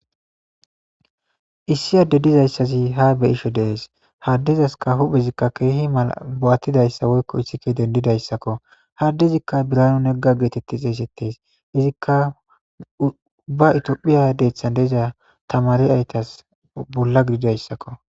issi adde dizayssazi ha be'isho dees haddezaska huphezikka keehi mala bo'attidayssa woykko issike dendidayssakko ha adde izikka birano negga geetetti xeesettes izikka ubba itiyophiya deeththan de'iza tamariyatas bolla gididayssakko